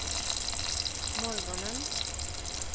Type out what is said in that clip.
morgonen